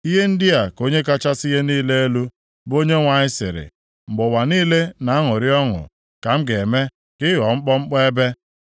Ihe ndị a ka Onye kachasị ihe niile elu, bụ Onyenwe anyị sịrị, Mgbe ụwa niile na-aṅụrị ọṅụ ka m ga-eme ka ị ghọọ mkpọmkpọ ebe.